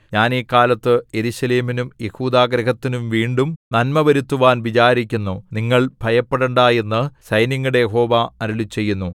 ഞാൻ ഈ കാലത്ത് യെരൂശലേമിനും യെഹൂദാഗൃഹത്തിനും വീണ്ടും നന്മ വരുത്തുവാൻ വിചാരിക്കുന്നു നിങ്ങൾ ഭയപ്പെടണ്ടാ എന്നു സൈന്യങ്ങളുടെ യഹോവ അരുളിച്ചെയ്യുന്നു